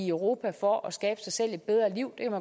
europa for at skabe sig selv et bedre liv